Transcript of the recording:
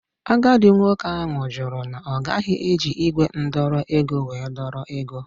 Agadi nwoke ahụ jụrụ na ogaghi eji igwe ndọrọ ego wee dọrọ ego.